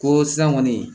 Ko san kɔni